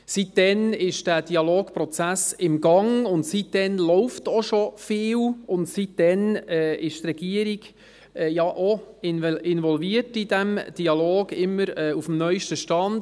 Seit dann ist der Dialogprozess im Gang, seit dann läuft auch schon viel, und seit dann ist die Regierung, die auch in den Dialog ist involviert, immer auf dem neu esten Stand.